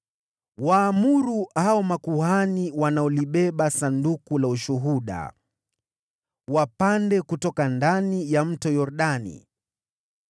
“Waamuru hao makuhani wanaolibeba Sanduku la Ushuhuda, wapande kutoka ndani ya Mto Yordani.”